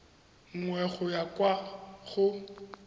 nngwe go ya kwa go